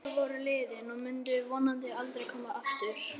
Þau ár voru liðin og myndu vonandi aldrei koma aftur.